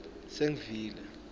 sengivile